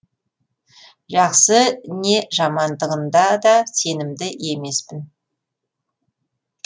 жақсы не жамандығында да сенімді емеспін